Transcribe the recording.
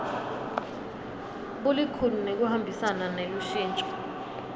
bulikhuni nekuhambisana nelushintso